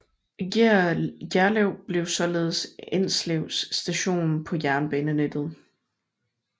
Gjerlev blev således Enslevs station på jernbanenettet